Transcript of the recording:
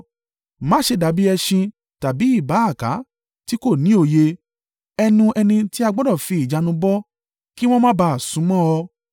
Má ṣe dàbí ẹṣin tàbí ìbáaka, tí kò ní òye ẹnu ẹni tí a gbọdọ̀ fi ìjánu bọ̀, kí wọn má ba à súnmọ́ ọ.